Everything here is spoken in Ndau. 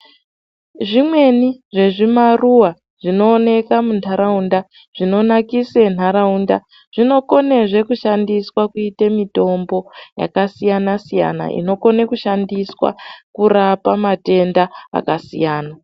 Zvimweni zvezvimaruwa zvinoneka muntaraunda zvinonakise ntaraunda zvinokonazve kushandiswa kuite mitombo yakasiyana siyana inokone kushandiswa kurapa matenda akasiyana.